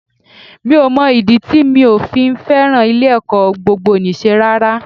Mi ò mọ ìdí tí mi ò fi fẹ́ràn ilé-ẹ̀kọ́ gbogboníṣe rárá